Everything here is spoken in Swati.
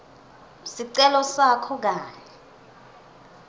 sicelo sakho kanye